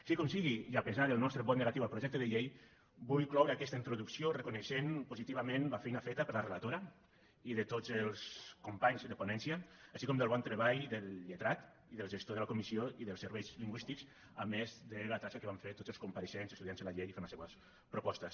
sigui com sigui i a pesar del nostre vot negatiu al projecte de llei vull cloure aquesta introducció reconeixent positivament la feina feta per la relatora i de tots els companys de ponència així com del bon treball del lletrat i del gestor de la comissió i dels serveis lingüístics a més de la tasca que van fer tots els compareixents estudiant se la llei i fent les seues propostes